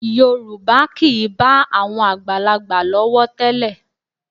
Yorùbá kì í bá àwọn àgbàlagbà lọ́wọ́ tẹ́lẹ̀